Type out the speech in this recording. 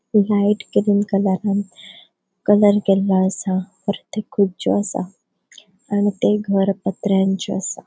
लाइट कलरान कलर केलो असा परत एक खुरच्यो असा आणि ते घर पत्र्यांचे असा.